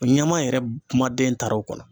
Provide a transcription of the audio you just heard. ɲama yɛrɛ kuma den taar'o kɔnɔ.